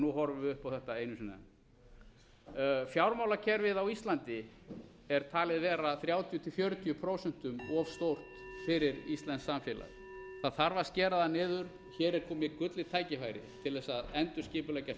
nú horfum við upp á þetta einu sinni enn fjármálakerfið á íslandi er talið vera þrjátíu til fjörutíu prósent of stórt fyrir íslenskt samfélag það þarf að skera það niður hér er komið gullið tækifæri til sú að endurskipuleggja